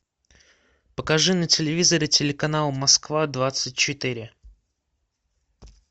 покажи на телевизоре телеканал москва двадцать четыре